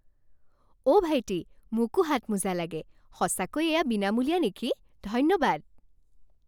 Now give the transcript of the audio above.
অঁ ভাইটি, মোকো হাতমোজা লাগে। সঁচাকৈ এয়া বিনামূলীয়া নেকি? ধন্যবাদ!